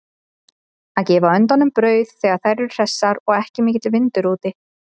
Að gefa öndunum brauð þegar þær eru hressar og ekki mikill vindur úti.